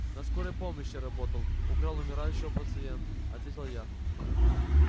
на скорой помощи работал украл у умирающего пациента ответил я